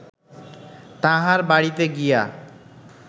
তাঁহার বাড়ীতে গিয়া